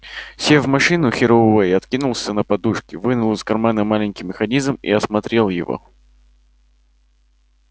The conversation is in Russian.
сев в машину херроуэй откинулся на подушки вынул из кармана маленький механизм и осмотрел его